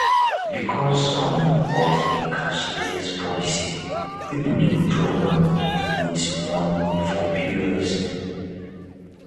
because um of di cashless policy pipo de withdraw money with money for pos um